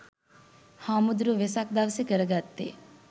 හාමුදුරුවො වෙසක් දවසෙ කරගත්තෙ